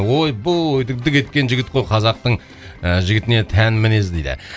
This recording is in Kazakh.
ой бой дік дік еткен жігіт қой қазақтың ыыы жігітіне тән мінез дейді